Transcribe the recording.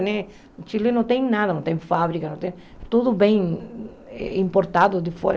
O Chile não tem nada, não tem fábrica não tem, tudo vem importado de fora.